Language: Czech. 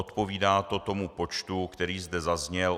Odpovídá to tomu počtu, který zde zazněl.